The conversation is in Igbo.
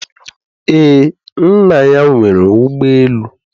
Ee, nna ya nwere ụgbọ elu